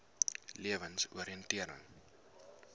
lewensoriëntering